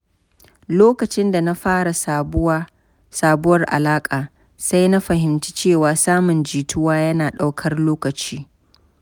Lokacin da na fara sabuwar alaƙa, sai na fahimci cewa samun jituwa yana ɗaukar lokaci.